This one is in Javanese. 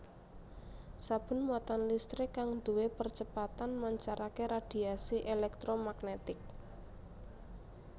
Saben muatan listrik kang duwé percepatan mancarake radhiasi èlèktromagnetik